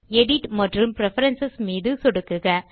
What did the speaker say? edit மற்றும் preference மீது சொடுக்குக